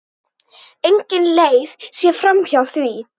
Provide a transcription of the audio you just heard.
Engin leið sé framhjá því.